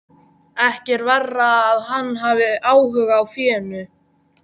Ekki er verra að hann hafi áhuga á fénu.